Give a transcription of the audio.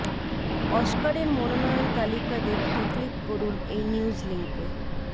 অস্কারের মনোনয়ন তালিকা দেখতে ক্লিক করুন এই নিউজ লিংকে